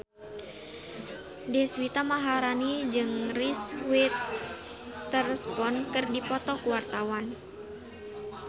Deswita Maharani jeung Reese Witherspoon keur dipoto ku wartawan